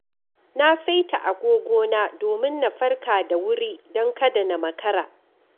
Na saita agogona domin na farka da wuri don kada na makara.